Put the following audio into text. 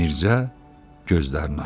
Mirzə gözlərini açdı.